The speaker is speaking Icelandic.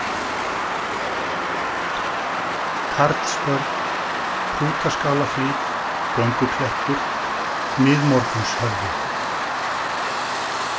Karlsbörn, Hrútaskálahlíð, Gönguklettur, Miðmorgunshöfði